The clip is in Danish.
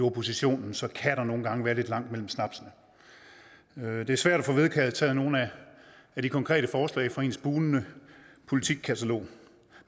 opposition så kan der nogle gange være lidt langt mellem snapsene det er svært at få vedtaget nogen af de konkrete forslag fra ens bugnende politikkatalog